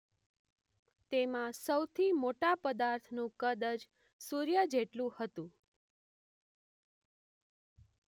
તેમાં સૌથી મોટા પદાર્થનું કદ છ સૂર્ય જેટલુ હતું